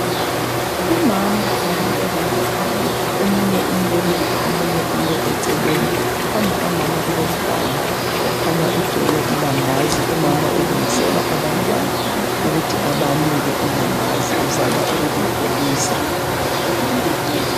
Umama labantwa bakhe ababili, omunye umbelethe, omunye ume eceleni. Phambi kukamama kulomganu okhanya ugcwele ilambazi. Umama ulungisela abantwana ukuthi abanike ilambazi, uzama ukulipholisa